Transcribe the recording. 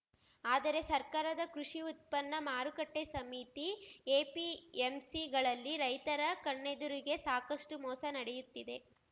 ಆದರೆ ಸರ್ಕಾರದ ಕೃಷಿ ಉತ್ಪನ್ನ ಮಾರುಕಟ್ಟೆಸಮಿತಿ ಎಪಿಎಂಸಿಗಳಲ್ಲಿ ರೈತರ ಕಣ್ಣೆದುರಿಗೇ ಸಾಕಷ್ಟುಮೋಸ ನಡೆಯುತ್ತಿದೆ